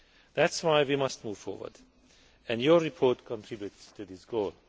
That is why we must move forward and your report contributes to this goal.